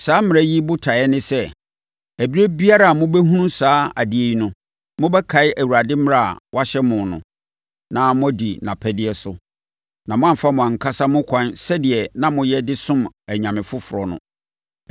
Saa mmara yi botaeɛ ne sɛ, ɛberɛ biara a mobɛhunu saa adeɛ yi no, mobɛkae Awurade mmara a wɔahyɛ mo no, na moadi nʼapɛdeɛ so, na moamfa mo ankasa mo akwan sɛdeɛ na moyɛ de som anyame afoforɔ no.